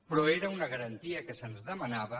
però era una garantia que se’ns demanava